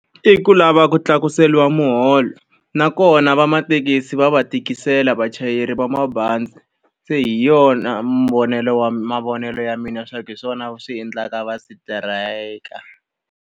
I ku lava ku tlakuseriwa muholo. Nakona vamathekisi va va tikisela vachayeri va mabazi. Se hi yona mavonelo ya mina leswaku hi swona swi endlaka va strike-a.